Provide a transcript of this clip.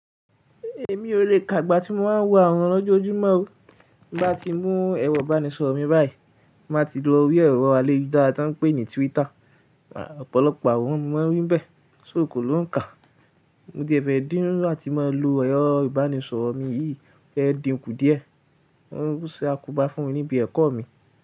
Èmi ò le kà igbá tí mo máa ń wo àworan lójojúmọ́ o. Bí bá ti mú ẹro ìbánisọ̀rọ̀ mi báyìí, màá ti lọ rí ẹ̀rọ àyelujara tí woń pè ní Twitter. Ọ̀pọ̀lọpọ̀ àworan ni mo maa ń rí bẹ́ẹ̀, ṣó ò kọ́ ló ń kà? Mo ti ee fẹ́ díńnú áti máa lo ẹ̀rọ ìbánisọ̀rọ̀ mi yìí, mó fẹ́ dìnkù díẹ̀. Wọ́n ṣe àkóbá fún mi níbi ẹ̀kọ́ mi.